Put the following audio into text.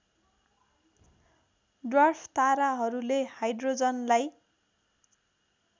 dwarf ताराहरूले हाइड्रोजनलाई